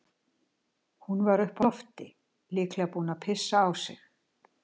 Hún var uppi á lofti, líklega búin að pissa á sig.